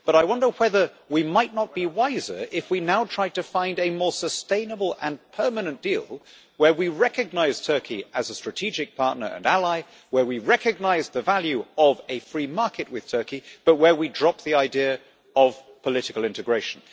But I wonder whether we might not be wiser now to try to find a more sustainable and permanent deal, whereby we recognise Turkey as a strategic partner and ally, and recognise the value of a free market with Turkey, but drop the idea of political integration.